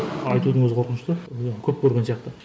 айтудың өзі қорқынышты ы көп көрген сияқты